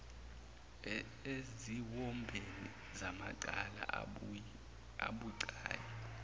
eziwombeni zamacala abucayi